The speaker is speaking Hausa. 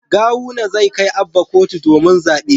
Gawuna zai kai Abba kotu domin zabe